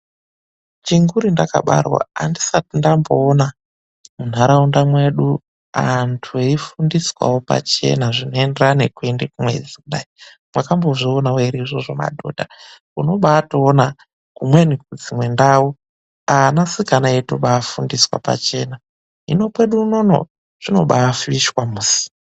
Chinguri ndakabarwa andisati ndamboona munharaunda mwedu antu eifundiswawo pachena zvinoenderana nekuende kumwedzi kudai. Mwakambozvionawo ere izvozvo madhodha? Unobaatoona kumweni kudzimwe ndau anasikana eitobaatofundiswa pachena. Hino kwedu unono zvinobaafishwa musi.